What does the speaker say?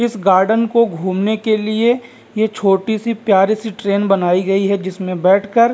इस गार्डन को घुमने के लिए ये छोटी-सी प्यारी ट्रैन बनाई गई है जिसमें से बैठकर --